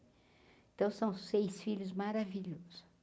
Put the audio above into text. Então, são seis filhos maravilhosos.